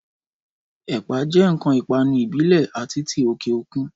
Ẹ̀pà jẹ́ ǹkan ìpanu ìbílẹ̀ àti ti òkè òkun